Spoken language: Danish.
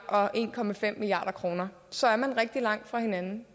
og en milliard kroner så er man rigtig langt fra hinanden